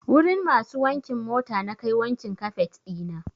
Wurin masu wankin mota nakai wankin kafet ɗina.